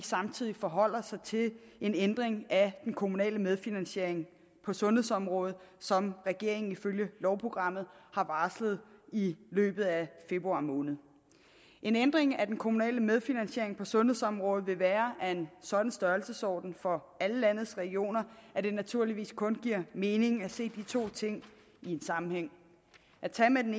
samtidig forholder sig til en ændring af den kommunale medfinansiering på sundhedsområdet som regeringen ifølge lovprogrammet har varslet i løbet af februar måned en ændring af den kommunale medfinansiering på sundhedsområdet vil være af en sådan størrelsesorden for alle landets regioner at det naturligvis kun giver mening at se de to ting i en sammenhæng at tage med den